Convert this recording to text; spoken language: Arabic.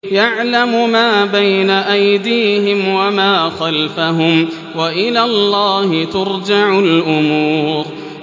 يَعْلَمُ مَا بَيْنَ أَيْدِيهِمْ وَمَا خَلْفَهُمْ ۗ وَإِلَى اللَّهِ تُرْجَعُ الْأُمُورُ